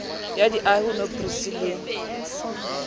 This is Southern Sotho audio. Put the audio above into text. ya diahi ho nhbrc le